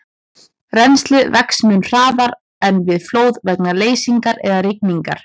Rennslið vex mun hraðar en við flóð vegna leysingar eða rigningar.